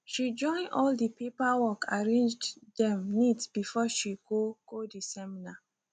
she join all de paperwork arranged dem neat before she go go de seminar